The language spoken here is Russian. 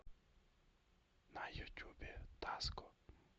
на ютюбе даско